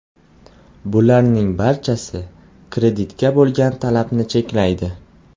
Bularning barchasi kreditga bo‘lgan talabni cheklaydi.